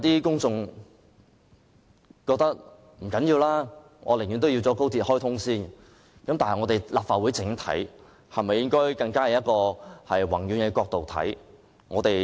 公眾人士可能覺得不重要，寧可先行開通高鐵，但立法會是否應該從一個更宏遠的角度來看？